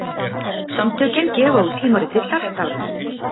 Samtökin gefa út tímaritið Hjartavernd.